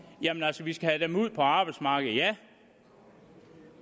at vi skal have dem ud på arbejdsmarkedet ja